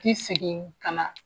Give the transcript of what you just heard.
Ti sigin ka na.